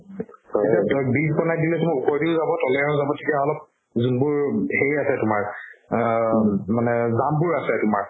এতিয়া ধৰ bridge বনাই দিলে ওপৰেও দি যাব ত'লেও দি যাব তেতিয়া অলপ যোনবোৰ সেই আছে তুমাৰ আ জামবোৰ আছে তুমাৰ